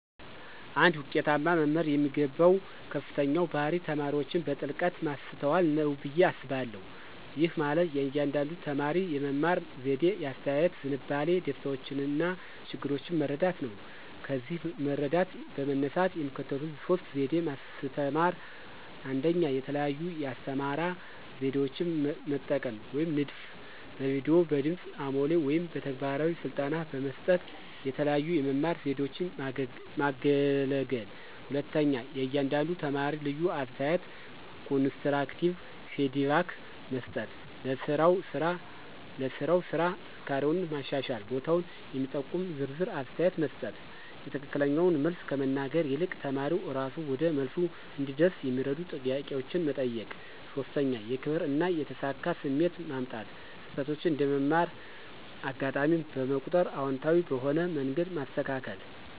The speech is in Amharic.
አንድ ውጤታማ መምህር የሚገባው ከፍተኛው ባህሪ ተማሪዎችን በጥልቀት ማስተዋል ነው ብዬ አስባለሁ። ይህ ማለት የእያንዳንዱን ተማሪ የመማር ዘዴ፣ የአስተያየት ዝንባሌ፣ ደስታዎችና ችግሮች መረዳት ነው። ከዚህ መረዳት በመነሳት የሚከተሉት ሶስት ዘዴ ማስተማራ 1, የተለያዩ የአስተማራ ዘዴዎችን መጠቀም (ንድፍ)፣ በቪዲዮ፣ በድምጽ አሞሌ ወይም በተግባራዊ ስልጠና በመስጠት የተለያዩ የመማር ዘዴዎችን ማገለገል። 2, ለእያንዳንዱ ተማሪ ልዩ አስተያየት (ኮንስትራክቲቭ ፊድባክ) መስጠት · ለሥራው ስራ ጥንካሬውና የማሻሻል ቦታውን የሚጠቁም ዝርዝር አስተያየት መስጠት።· የትክክለኛውን መልስ ከመናገር ይልቅ ተማሪው እራሱ ወደ መልሱ እንዲደርስ የሚረዱ ጥያቄዎችን መጠየቅ። 3, የክብር እና የተሳካ ስሜት ማምጣት· ስህተቶችን እንደ መማር አጋጣሚ በመቁጠር አዎንታዊ በሆነ መንገድ ማስተካከል።